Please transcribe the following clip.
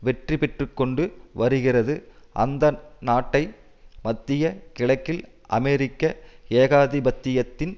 வெற்றிபெற்றுக்கொண்டு வருகிறது அந்த நாட்டை மத்திய கிழக்கில் அமெரிக்க ஏகாதிபத்தியத்தின்